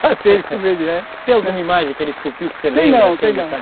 Fazia ele como ele é. Tem alguma imagem que ele esculpiu que você lembra? Tem não, tem não.